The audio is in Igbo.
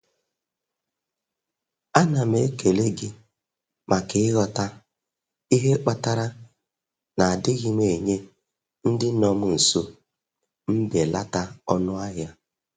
A na m ekele gị maka ịghọta ihe kpatara na adịghị m enye ndị nọ m nso mbelata ọnụahịa.